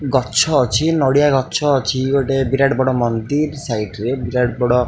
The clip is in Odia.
ଗଛ ଅଛି ନଡ଼ିଆ ଗଛ ଅଛି ଗଟେ ବିରାଟ ବଡ଼ ମନ୍ଦିର୍ ସାଇଟ୍ ରେ ବିରାଟ ବଡ଼ --